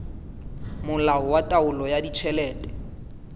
molao wa taolo ya ditjhelete